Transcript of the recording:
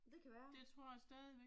Det kan være